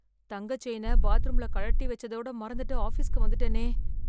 தங்க செயின பாத்ரூம்ல கழட்டி வெச்சதோட மறந்துட்டு ஆஃபிஸ்க்கு வந்துட்டனே.